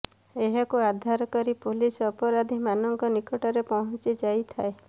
ଏହାକୁ ଆଧାର କରି ପୁଲିସ ଅପରାଧୀମାନଙ୍କ ନିକଟରେ ପହଞ୍ଚି ଯାଇଥାଏ